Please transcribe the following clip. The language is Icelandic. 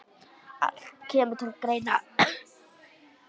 Allt kemur til greina.